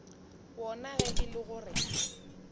wona ge e le gore